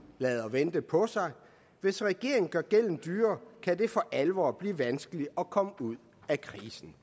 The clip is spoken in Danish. lader vente på sig hvis regeringen gør gælden dyrere kan det for alvor blive vanskeligt at komme ud af krisen